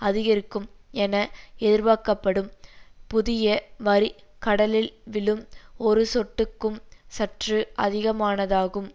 அதிகரிக்கும் என எதிர்பார்க்கப்படும் புதிய வரி கடலில் விழும் ஒரு சொட்டுக்கும் சற்று அதிகமானதாகும்